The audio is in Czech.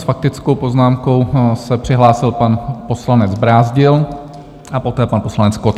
S faktickou poznámkou se přihlásil pan poslanec Brázdil a poté pan poslanec Kott.